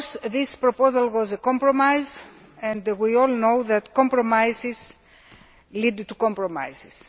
This proposal was a compromise, and we all know that compromises lead to compromises.